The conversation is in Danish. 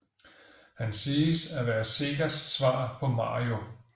Han siges at være Segas svar på Mario